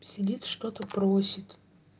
сидит что-то просит